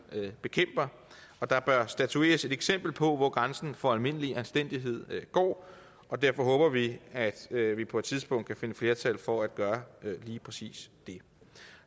bekæmper der bør statueres et eksempel på hvor grænsen for almindelig anstændighed går derfor håber vi at vi vi på et tidspunkt kan finde flertal for at gøre lige præcis det